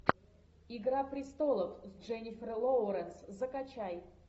игра престолов с дженнифер лоуренс закачай